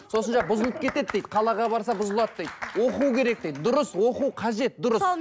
сосын жаңа бұзылып кетеді дейді қалаға барса бұзылады дейді оқу керек дейді дұрыс оқу қажет дұрыс